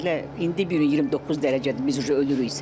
Belə indi bir 29 dərəcədir biz ölürük isə də.